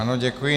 Ano, děkuji.